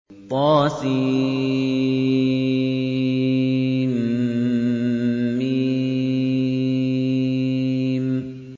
طسم